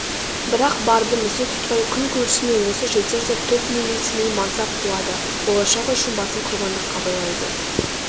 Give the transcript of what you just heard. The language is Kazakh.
бірақ барды місе тұтпай күн көрісіме осы жетер деп тоқмейілсімей мансап қуады болашағы үшін басын құрбандыққа байлайды